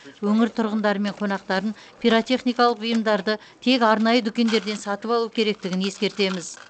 өңір тұрғындары мен қонақтарын пиротехникалық бұйымдарды тек арнайы дүкендерден сатып алу керектігін ескертеміз